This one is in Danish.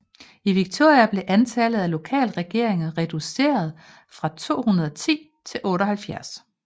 I Victoria blev antallet af lokalregeringer reduceret fra 210 til 78